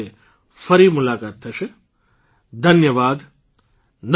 social media પર અમને follow કરો પિબાહમેદાબાદ pibahmedabad1964 પિબાહમેદાબાદ pibahmedabad1964gmail